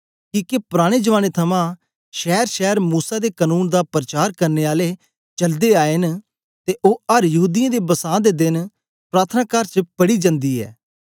किके पुराने जमाने थमां शैरशैर मूसा दे कनून दा परचार करने आले चलदे आए न ते ओ अर यहूदीयें दे बसां दे देन प्रार्थनाकार च पढ़ी जन्दी ऐ